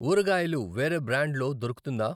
ఊరగాయలు వేరే బ్రాండ్ లో దొరుకుతుందా?